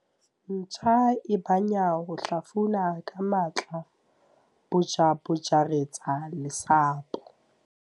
ntja e banya ho hlafuna ka matla-bjabjaretsa lesapo